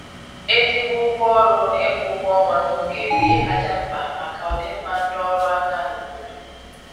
ezigbo ụgwọ ọrụ na ịkwụ ụgwọ ọnwa na oge bụ ihe kacha mkpa maka ọdịmma ndị ọrụ aka n' obodo